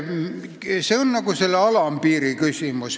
See on see alampiiri küsimus.